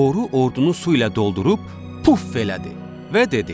Boru ordunu su ilə doldurub, puf elədi və dedi: